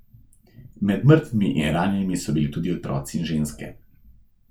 Med mrtvimi in ranjenimi so bili tudi otroci in ženske.